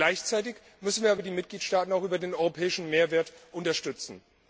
Gleichzeitig müssen wir aber die Mitgliedstaaten auch über den europäischen Mehrwert unterstützen.